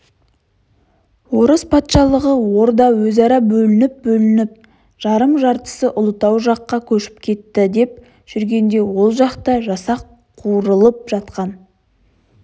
орыс патшалығы орда өзара бөлініп-бөлініп жарым-жартысы ұлытау жаққа көшіп кетіпті деп жүргенде ол жақта жасақ қуырылып жатқан